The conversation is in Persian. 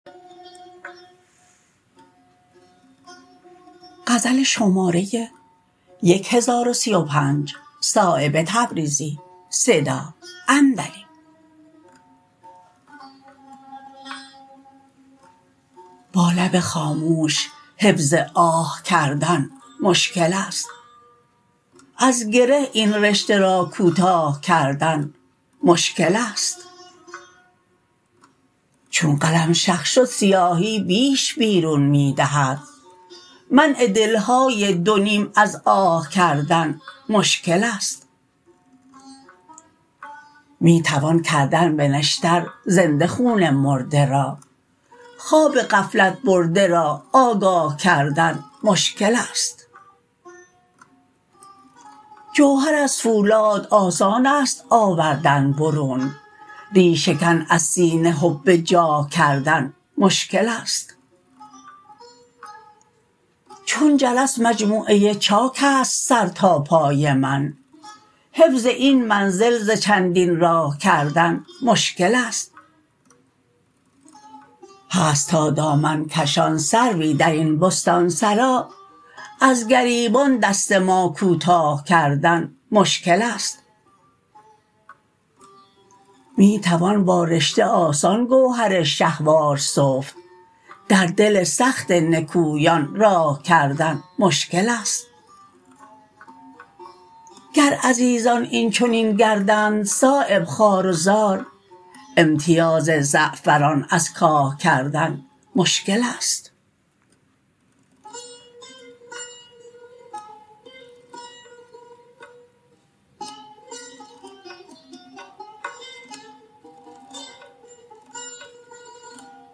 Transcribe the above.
با لب خاموش حفظ آه کردن مشکل است از گره این رشته را کوتاه کردن مشکل است چون قلم شق شد سیاهی بیش بیرون می دهد منع دلهای دو نیم از آه کردن مشکل است می توان کردن به نشتر زنده خون مرده را خواب غفلت برده را آگاه کردن مشکل است جوهر از فولاد آسان است آوردن برون ریشه کن از سینه حب جاه کردن مشکل است چون جرس مجموعه چاک است سر تا پای من حفظ این منزل ز چندین راه کردن مشکل است هست تا دامن کشان سروی درین بستانسرا از گریبان دست ما کوتاه کردن مشکل است می توان با رشته آسان گوهر شهوار سفت در دل سخت نکویان راه کردن مشکل است گر عزیزان این چنین گردند صایب خوار و زار امتیاز زعفران از کاه کردن کردن مشکل است